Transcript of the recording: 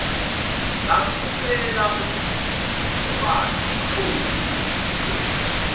lathumela untombazi umqoqi